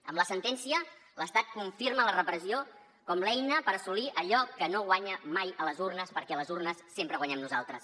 amb la sentència l’estat confirma la repressió com l’eina per assolir allò que no guanya mai a les urnes perquè a les urnes sempre guanyem nosaltres